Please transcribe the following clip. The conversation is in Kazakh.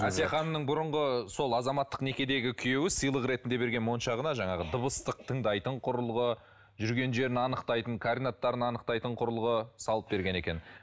әсия ханымның бұрынғы сол азаматтық некедегі күйеуі сыйлық ретінде берген моншағына жаңағы дыбыстық тыңдайтын құрылғы жүрген жерін анықтайтын кординаттарын анықтайтын құрылғы салып берген екен